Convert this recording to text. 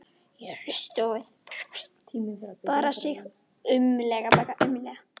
Hann hristi höfuðið, bar sig aumlega.